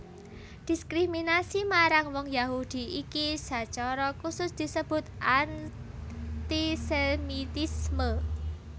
Diskriminasi marang wong Yahudi iki sacara khusus disebut antisemitisme